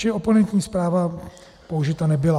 Čili oponentní zpráva použita nebyla.